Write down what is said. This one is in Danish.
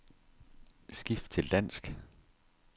Skift til dansk.